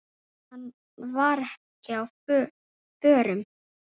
Hann var ekki á förum.